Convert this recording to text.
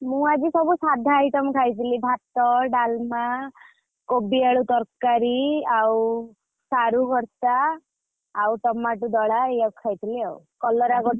ମୁ ଆଜି ସବୁ ସାଧା item ଖାଇଥିଲି ଭାତ ଡାଲମା କୋବି ଆଳୁ ତରକାରୀ ଆଉ ସାରୁ ଭରତା ଆଉ ଟମାଟୁ ଦଳା ଏଇଆକୁ ଖାଇଥିଲି ଆଉ କଲରା ଗୋଟା ଭଜା ।